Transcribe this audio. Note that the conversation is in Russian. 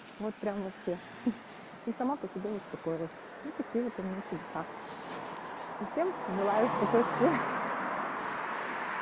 вот прям вообще ты сама по себе вот какой раз и всем желаю спокойствия